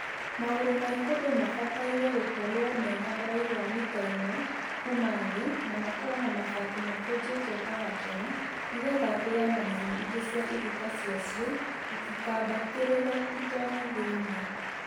Magũrũ ma ikũmbĩ mabataire gũkorwo mena ũraihu wa mita ĩmwe kuma thĩ na makorwo na mabati makunjĩtwo ta gakero nĩgetha mbĩya na nyamũ ingĩ cia iruka ciacio itikambatĩrĩre itonye thĩinĩ